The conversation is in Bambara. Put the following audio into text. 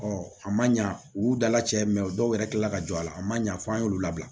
Ɔ a man ɲa u dala cɛ dɔw yɛrɛ kilala ka jɔ a la a ma ɲa fɔ an y'olu labila